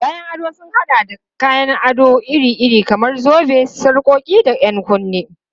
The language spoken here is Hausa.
Kayan ado sun haɗa da kayan ado iri-iri kamar zobe, sarƙoƙi, da 'yan kunne.